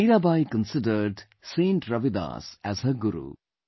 Mirabai considered Saint Ravidas as her guru